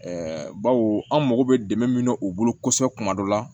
bawo an mago bɛ dɛmɛ min na u bolo kosɛbɛ kuma dɔ la